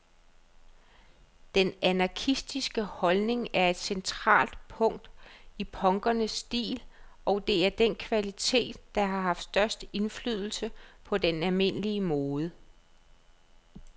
Den anarkistiske holdning er et centralt punkt i punkernes stil, og det er den kvalitet, der har haft størst indflydelse på den almindelige mode.